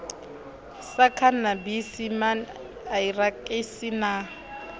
sa khanabisi man irakisi na